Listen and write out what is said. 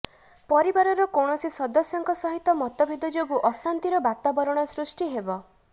ପରିବାରର କୌଣସି ସଦସ୍ୟଙ୍କ ସହିତ ମତେଭଦ ଯୋଗୁଁ ଅଶାନ୍ତିର ବାତାବରଣ ସୃଷ୍ଟି ହେବ